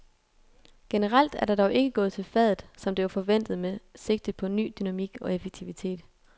Generelt er der dog ikke gået til fadet, som det var forventet med sigte på ny dynamik og effektivitet.